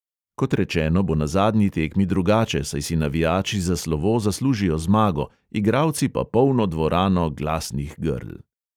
Kot rečeno, bo na zadnji tekmi drugače, saj si navijači za slovo zaslužijo zmago, igralci pa polno dvorano glasnih grl.